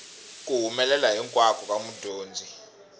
ku humelela hinkwako ka mudyondzi